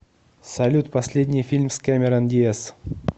салют последний фильм с кэмерон диаз